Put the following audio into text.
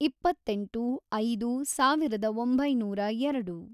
ಇಪ್ಪ್ಪತ್ತೆಂಟು, ಐದು, ಸಾವಿರದ ಒಂಬೈನೂರ ಎರಡು